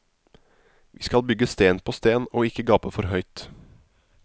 Vi skal bygge sten på sten og ikke gape for høyt.